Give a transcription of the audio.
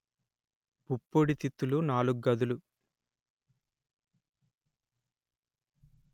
పుప్పొడి తిత్తులు నాలుగు గదులు